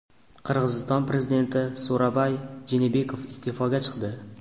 Qirg‘iziston prezidenti So‘ronbay Jeenbekov iste’foga chiqdi.